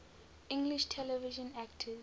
english television actors